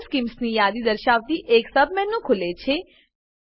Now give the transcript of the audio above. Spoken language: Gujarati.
કલર સ્કીમ્સ ની યાદી દર્શાવતી એક સબમેનુ ખુલે છે